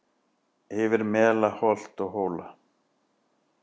Yfir mela holt og hóla